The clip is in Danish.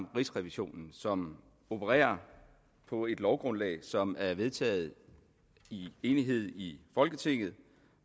rigsrevisionen som opererer på et lovgrundlag som er vedtaget i enighed i folketinget